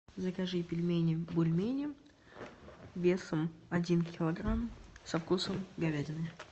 закажи пельмени бульмени весом один килограмм со вкусом говядины